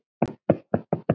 Jakob að hans sögn.